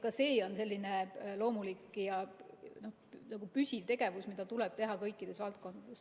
Ka see on loomulik ja püsiv tegevus, mida tuleb teha kõikides valdkondades.